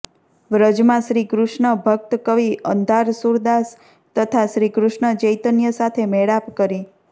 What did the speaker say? વ્રજમાં શ્રીકૃષ્ણ ભક્તકવિ અંધારસુરદાસ તથા શ્રીકૃષ્ણ ચૈતન્ય સાથે મેળાપ કરી